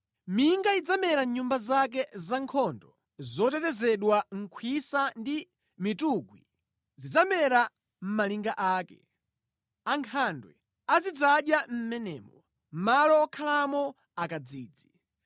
Minga idzamera mʼnyumba zake zankhondo zotetezedwa, khwisa ndi mitungwi zidzamera mʼmalinga ake. Ankhandwe azidzadya mʼmenemo; malo okhalamo akadzidzi.